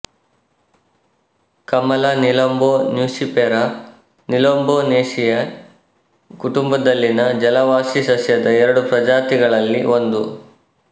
ಕಮಲ Nelumbo nucifera Nelumbonaceae ಕುಟುಂಬದಲ್ಲಿನ ಜಲವಾಸಿ ಸಸ್ಯದ ಎರಡು ಪ್ರಜಾತಿಗಳಲ್ಲಿ ಒಂದು